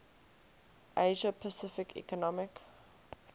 asia pacific economic